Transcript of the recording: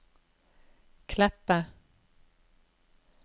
Kleppe